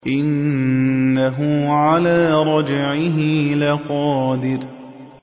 إِنَّهُ عَلَىٰ رَجْعِهِ لَقَادِرٌ